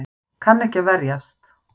Kann ekki að verjast.